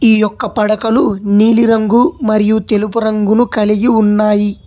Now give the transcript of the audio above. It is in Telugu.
ఈ యొక్క పడకలు నీలిరంగు మరియు తెలుపు రంగును కలిగి ఉన్నాయి.